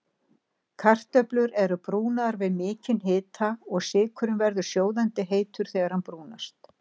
Kartöflur eru brúnaðar við mikinn hita og sykurinn verður sjóðandi heitur þegar hann brúnast.